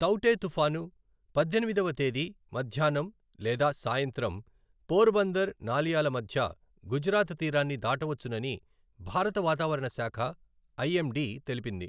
తౌఁటే తుపాను పద్దెనిమిదవ తేదీ మధ్యాహ్నం లేదా సాయంత్రం పోర్బందర్ నాలియాల మధ్య గుజరాత్ తీరాన్ని దాటవచ్చునని భారత వాతావరణ శాఖ ఐఎండీ తెలిపింది.